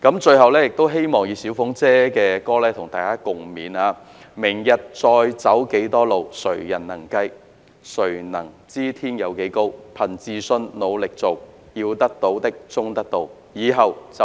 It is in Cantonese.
最後，希望再次引用"小鳳姐"的歌曲與大家共勉："明日再要走幾多路，誰人能計，誰能知天有幾高，憑自信努力做，要得到的終得到，以後就算追憶也自豪"。